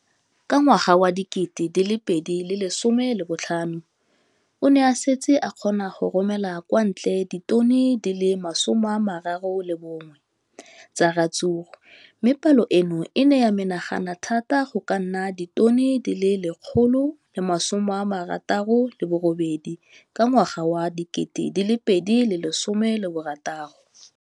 Ka ngwaga wa 2015, o ne a setse a kgona go romela kwa ntle ditone di le 31 tsa ratsuru mme palo eno e ne ya menagana thata go ka nna ditone di le 168 ka ngwaga wa 2016.